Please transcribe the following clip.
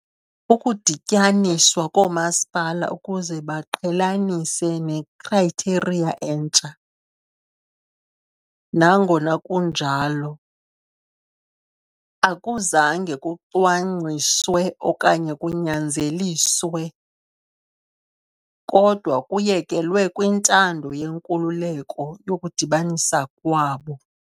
Ukudityaniswa koomasipala ukuze baqhelanise nekhrayitheriya entsha, nangona kunjalo, akuzange kucwangciswe okanye kunyanzeliswe, kodwa kuyekelwe "kwintando yenkululeko" yokudibanisa kwabo.